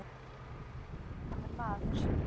Hann virtist aldrei vera hamingjusamur maður.